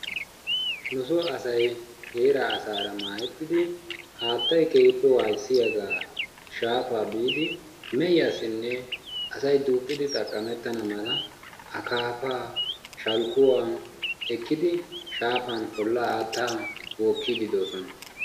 Nu so asay heeraa asaara maahettidi haattaay keehippe wayssiyaga shaafa biidi meehiyasinee asay duqqidi xaqamettana mala akaafa shalkkuwan ekkidi shaafan haattaa ollaa bokkidi dosona.